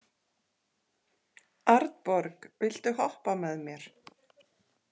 Arnborg, viltu hoppa með mér?